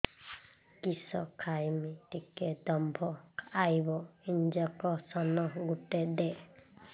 କିସ ଖାଇମି ଟିକେ ଦମ୍ଭ ଆଇବ ଇଞ୍ଜେକସନ ଗୁଟେ ଦେ